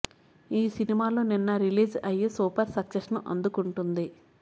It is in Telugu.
ఈ సినిమాలు నిన్న రిలీజ్ అయ్యి సూపర్ సక్సెస్ ని అందుకుంటుంది